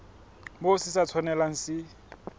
moo se sa tshwanelang se